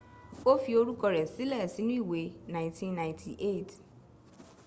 o fi orúkọ rẹ sílẹ̀ sínú ìwé 1998